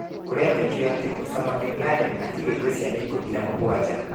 Kũrĩtĩkio atĩ Osama Bin Laden atigĩtĩ ciana ikũmi na mũgwanja.